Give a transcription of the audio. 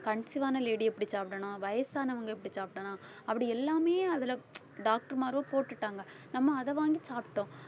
conceive ஆன lady எப்படி சாப்பிடணும் வயசானவங்க எப்படி சாப்பிடணும் அப்படி எல்லாமே அதுல doctor மாரோ போட்டுட்டாங்க நம்ம அதை வாங்கி சாப்பிட்டோம்.